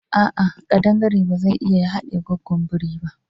A'a, kadangare ba zai iya ya hadiye gwaggon biri ba.